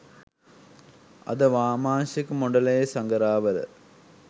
අද වාමාංශික මොඩලයේ සඟරාවල